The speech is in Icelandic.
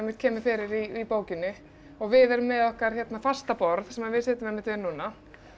kemur fyrir í bókinni og við erum með okkar fasta borð sem við sitjum einmitt við núna